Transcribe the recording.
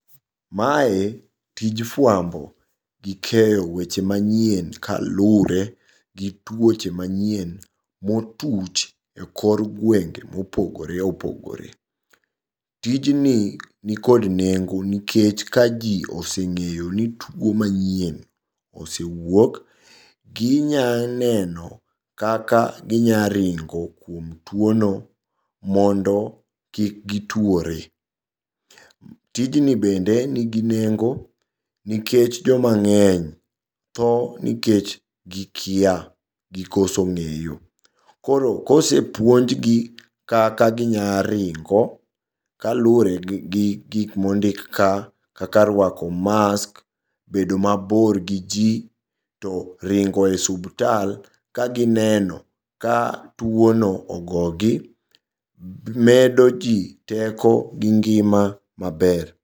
Mae tij fuambo gi keyo weche manyien kalure gi tuoche manyien motuch e kor gwenge mopogore opogore. Tijni nikod nengo nikech ka jii oseng'eyo ni tuo manyien osewuok ginya neno kaka ginyaringo kuom tuo no mondo kik gituore. Tijni bende nigi nengo nikech joma ng'eny thoo nikech gikia gi koso ng'eyo, koro kosepuonj gi kaka ginyaringo kalure gi gikmondik ka kaka ruako mask, bedo mabor gi jii, to ringo e subtal ka gineno ka tuono ogogi medo jii teko gi ngima maber.